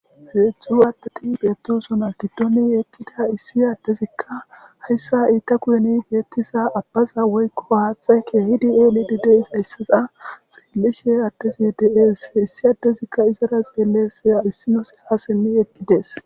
heedzdxzu waatati beettisona gidoni ekkida issi addezikka hayssa iita kuyeni beettiza abbaza woykko haaxe keehidi eli ddys hayssaza xiillishe addezi de7es issi addezikka izara xeellesya issinoseha simmi ekkidees